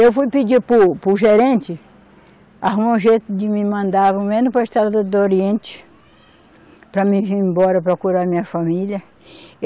Eu fui pedir para o, para o gerente arrumar um jeito de me mandar ao menos para a estrada do oriente para mim vir embora procurar a minha família.